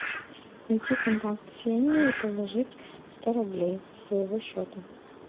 найти контакт ксения и положить сто рублей со своего счета